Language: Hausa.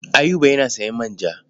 Ayuba yana sayan manja.